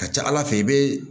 Ka ca ala fɛ i bɛ